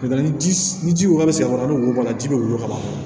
N'o tɛ ni ji ni ji wa bɛ sen kɔnɔ ni wolon ji bɛ woyon ka ban